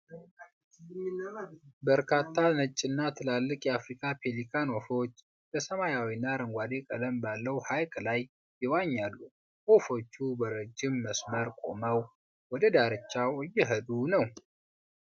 በርካታ ነጭና ትላልቅ የአፍሪካ ፔሊካን ወፎች በሰማያዊና አረንጓዴ ቀለም ባለው ሐይቅ ላይ ይዋኛሉ። ወፎቹ በረጅም መስመር ቆመው ወደ ዳርቻው እየሄዱ ነው።